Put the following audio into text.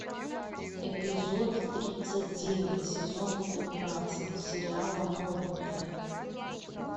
эпизод тридцать девять сезона пятнадцать сериала новенькая